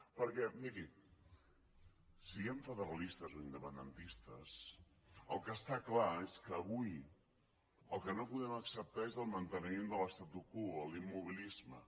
perquè miri siguem federalistes o independentistes el que està clar és que avui el que no podem acceptar és el manteniment de l’statu quo l’immobilisme